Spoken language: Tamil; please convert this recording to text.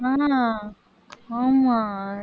ஆமா